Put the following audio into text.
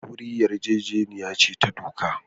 Aure yarjejeniya ce ta doka.